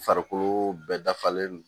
Farikolo bɛɛ dafalen don